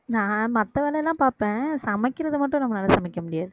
நான் மத்த வேலை எல்லாம் பாப்பேன் சமைக்கிறது மட்டும் நம்மளால சமைக்க முடியாது